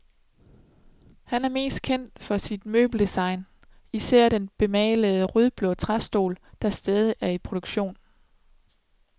Han er mest kendt for sit møbeldesign, især den bemalede rødblå træstol, der stadigvæk er i produktion.